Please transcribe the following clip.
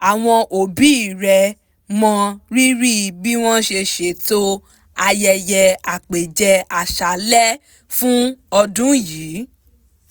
àwọn òbí rẹ̀ mọ rírì bí wọ́n ṣe ṣètò ayẹyẹ àpẹ̀jẹ àṣalẹ́ fún ọdún yìí